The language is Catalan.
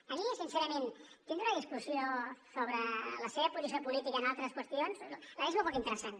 a mi sincerament tindre una discussió sobre la seva posició política en altres qüestions la veig molt poc interessant